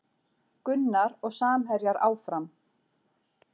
Gunnar og samherjar áfram